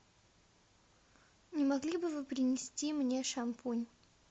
не могли бы вы принести мне шампунь